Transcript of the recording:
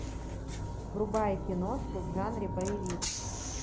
врубай киношку в жанре боевик